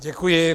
Děkuji.